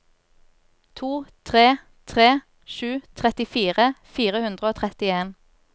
to tre tre sju trettifire fire hundre og trettien